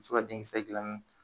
Muso ka denkisɛ gilanni